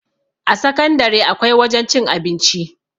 a sakandare akwai wajen cin abinci